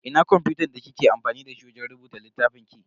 Ina kwamfutan da kike amfani dashi wajen rubuta littafin ki?